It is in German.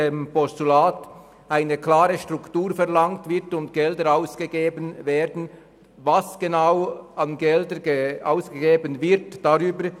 Im Postulat wird keine klare Struktur verlangt, und es wird nicht aufgeführt, welche Gelder in welcher Höhe dafür ausgegeben werden sollen.